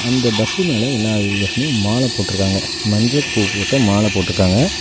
அந்த பஸ்ஸு மேல எல்லா பஸ்லயு மால போட்ருக்காங்க மஞ்சள் பூ போட்ட மால போட்ருக்காங்க.